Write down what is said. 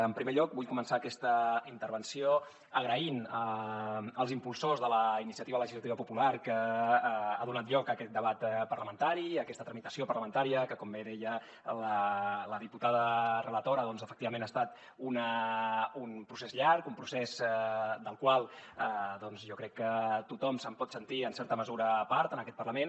en primer lloc vull començar aquesta intervenció donant les gràcies als impulsors de la iniciativa legislativa popular que ha donat lloc a aquest debat parlamentari i a aquesta tramitació parlamentària que com bé deia la diputada relatora doncs efectivament ha estat un procés llarg un procés del qual jo crec que tothom se’n pot sentir en certa mesura part en aquest parlament